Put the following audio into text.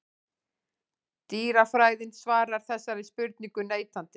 Dýrafræðin svarar þessari spurningu neitandi.